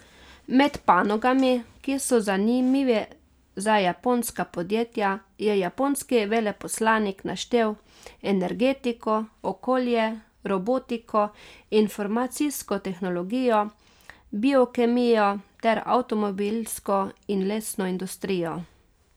Med panogami, ki so zanimive za japonska podjetja, je japonski veleposlanik naštel energetiko, okolje, robotiko, informacijsko tehnologijo, biokemijo ter avtomobilsko in lesno industrijo.